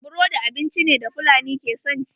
Burodi abinci ne da fulani ke son ci.